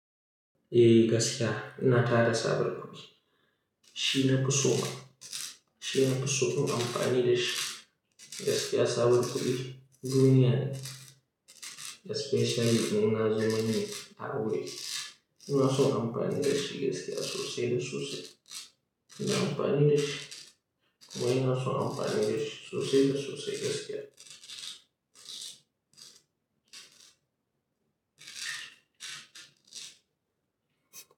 Eh gaskiya, ina tada sabon kudi. Shi na fi so ma, shi na fi so in amfani da shi. Gaskiya sabon kudi duniya ne especially in an zo manni a aure. Ina so in amfani da shi gaskiya sosai da sosai. Ina amfani da shi. Kuma ina so in amfani da shi sosai da sosai gaskiya.